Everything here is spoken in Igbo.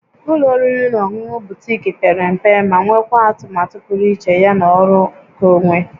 Ụlọ oriri na ọṅụṅụ Butiik pere mpe ma nwekwaa atụmatụ pụrụ iche ya na ọrụ nkeonwe